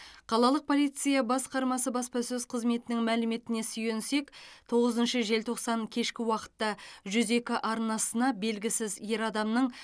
қалалық полиция басқармасы баспасөз қызметінің мәліметіне сүйенсек тоғызыншы желтоқсан кешкі уақытта жүз екі арнасына белгісіз ер адамның